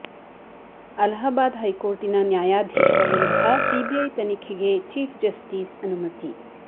ಅಲಹಾಬಾದ್ ಹೈಕೋರ್ಟಿನ ನ್ಯಾಯಾಧೀಶ ವಿರುದ್ಧ ಸಿಬಿಐಗೆ ತನಿಖೆಗೆ ಚೀಫ್ ಜಸ್ಟಿಸ್ ಅನುಮತಿ